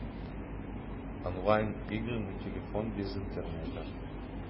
онлайн игры на телефон без интернета